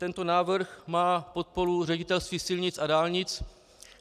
Tento návrh má podporu Ředitelství silnic a dálnic.